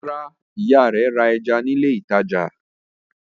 Rárá, ìyá rẹ̀ ra ẹja ní ilé-ìtajà.